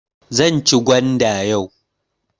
Zan ci gwanda yau.